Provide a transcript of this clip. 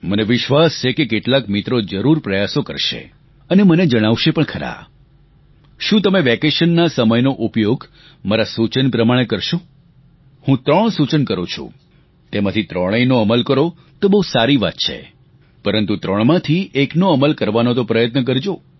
મને વિશ્વાસ છે કે કેટલાક મિત્રો જરૂર પ્રયાસો કરશે અને મને જણાવશે પણ ખરા શું તમે વેકેશનના આ સમયનો ઉપયોગ મારા સૂચન પ્રમાણે કરશો હું ત્રણ સૂચન કરું છું તેમાંથી ત્રણેયનો અમલ કરો તો બહુ સારી વાત છે પરંતુ ત્રણમાંથી એકનો અમલ કરવાનો તો પ્રયત્ન કરજો